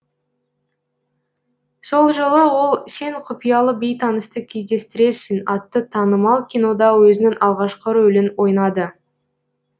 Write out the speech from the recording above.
сол жылы ол сен құпиялы бейтанысты кездестіресің атты танымал кинода өзінің алғашқы рөлін ойнады